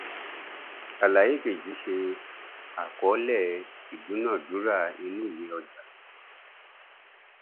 àlàyé kejì ṣe àkọọlẹ ìdúnàádúrà inú ìwé ọjà